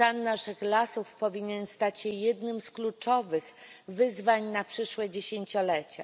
Stan naszych lasów powinien stać się jednym z kluczowych wyzwań na przyszłe dziesięciolecia.